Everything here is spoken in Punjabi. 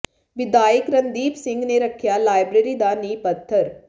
ਵਿਧਾਇਕ ਰਣਦੀਪ ਸਿੰਘ ਨੇ ਰੱਖਿਆ ਲਾਇਬ੍ਰੇਰੀ ਦਾ ਨੀਂਹ ਪੱਥਰ